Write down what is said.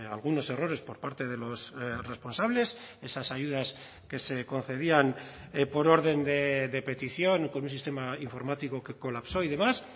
algunos errores por parte de los responsables esas ayudas que se concedían por orden de petición con un sistema informático que colapsó y demás